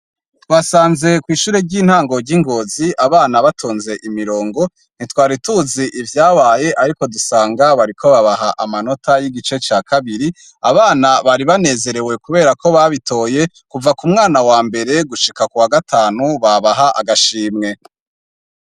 Twasanze kw'ishure ry'intango ry i Ngozi abana batonze imirongo, ntitwari tuzi ivyabaye, ariko dusanga bariko babaha amanota y'igice ca kabiri, abana bari banezerewe kubera ko babitoye kuva ku mwana wa mbere gushika kuwa gatanu babaha agashimwe.